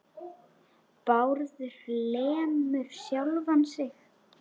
Bárður lemur sjálfan sig.